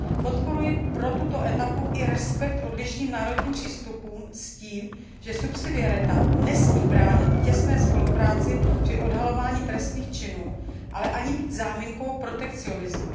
Podporuji v rámci této etapy i respektování odlišných národních přístupů s tím, že subsidiarita nesmí bránit těsné spolupráci při odhalování trestných činů, ale ani být záminkou protekcionismu.